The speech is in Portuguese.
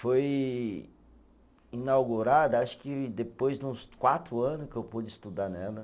Foi inaugurada, acho que depois de uns quatro anos que eu pude estudar nela.